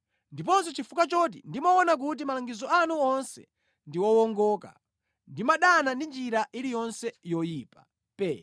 ndiponso chifukwa choti ndimaona kuti malangizo anu onse ndi wowongoka, ndimadana ndi njira iliyonse yoyipa.